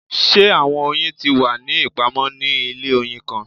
Ṣe awọn oyin ti wa ni ipamọ ni ile oyin kan?